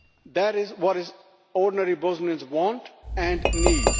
That is what ordinary Bosnians want and need.